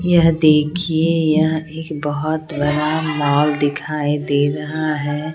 यह देखिए यह एक बहुत बरा मॉल दिखाई दे रहा है।